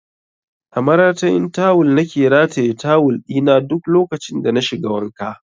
A maratayin tawul na ke rataye tawul ɗi na duk lokacin da na shiga wanka